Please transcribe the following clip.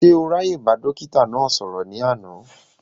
Ṣé o ráàyè bá dókítà náà sọ̀rọ̀ ní àná?